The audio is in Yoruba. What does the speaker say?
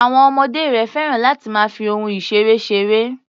Àwọn ọmọdé rẹ̀ féràn láti máa fi ohun-ìṣeré ṣeré.